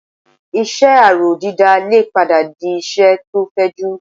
Iṣẹ́ aró dídá lè padà di iṣẹ́ tó fẹjú